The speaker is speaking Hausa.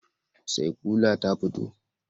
Saikyula ta fito?